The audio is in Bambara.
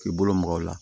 K'i bolo maga o la